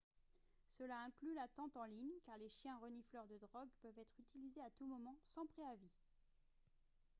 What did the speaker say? cela inclut l'attente en ligne car les chiens renifleurs de drogue peuvent être utilisés à tout moment sans préavis